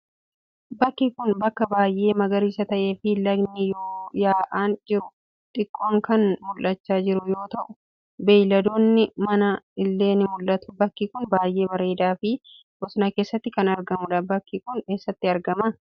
Bakki kun, bakka baay'ee magariisa ta'ee fi lagni ya'aa jiru xiqqoon kan mul'achaa jiru yoo ta'u, beeyladoonni manaa illee ni mil'atu. Bakki kun, baay'ee bareedaa fi bosona keessatti kan argamuudha. Bakki kun, eessatti argama?